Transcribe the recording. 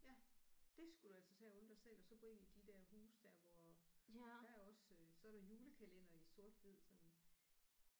Ja det skulle du altså tage at unde dig selv og så gå ind i de der huse der hvor der er også øh så er der julekalender i sort hvid sådan